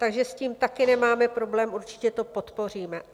Takže s tím také nemáme problém, určitě to podpoříme.